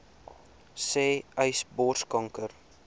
sê uys borskanker